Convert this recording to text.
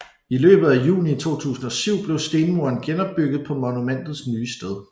I løbet af juni 2007 blev stenmuren genopbygget på monumentets nye sted